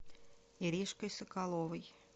иришкой соколовой